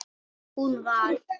Hún var